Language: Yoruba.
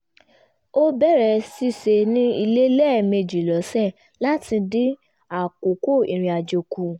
ó bẹ̀rẹ̀ ṣíṣe ní ilé lẹ́mẹjì lọ́sẹ̀ láti dín àkókò irinàjò kù